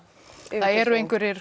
eru einhverjir